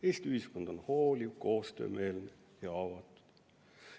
Eesti ühiskond on hooliv, koostöömeelne ja avatud.